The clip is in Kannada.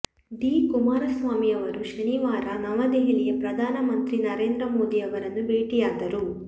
ಡಿ ಕುಮಾರಸ್ವಾಮಿ ಅವರು ಶನಿವಾರ ನವದೆಹಲಿಯ ಪ್ರಧಾನ ಮಂತ್ರಿ ನರೇಂದ್ರ ಮೋದಿ ಅವರನ್ನು ಭೇಟಿಯಾದರು